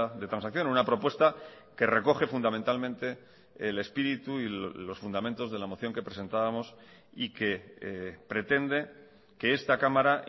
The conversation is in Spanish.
de transacción una propuesta que recoge fundamentalmente el espíritu y los fundamentos de la moción que presentábamos y que pretende que esta cámara